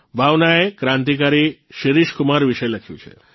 ભાવનાએ ક્રાંતિકારી શિરીષકુમાર વિષે લખ્યું છે